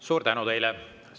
Suur tänu teile!